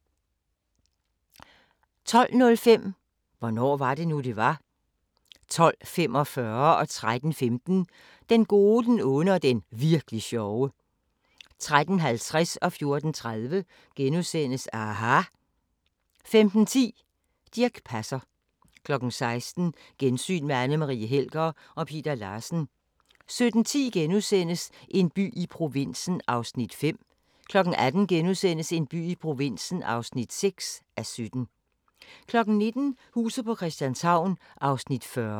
12:05: Hvornår var det nu, det var? 12:45: Den gode, den onde og den virk'li sjove 13:15: Den gode, den onde og den virkli' sjove 13:50: aHA! * 14:30: aHA! * 15:10: Dirch Passer 16:00: Gensyn med Anne Marie Helger og Peter Larsen 17:10: En by i provinsen (5:17)* 18:00: En by i provinsen (6:17)* 19:00: Huset på Christianshavn (40:84)